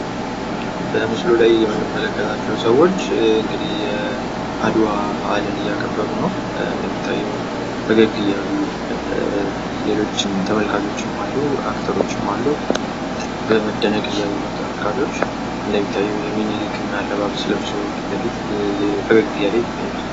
በምስሉ ላይ የምንመለከታቸው ሰዎች እንግዲህ የአድዋ በአልን እያከበሩ ነው ።እንደሚታየዉ ፈገግ እያሉ ሌሎችም ተመልካቾች አሉ አክተሮችም አሉ። በመደነቅ እያዩ ነው ተመልካቾች ።እንደሚታየው የአፄ ምኒልክን አለባበስ ለብሰዉ ፊት ለፊት ፈገግ እያሉ ይታያሉ።